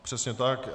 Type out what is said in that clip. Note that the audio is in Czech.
Přesně tak.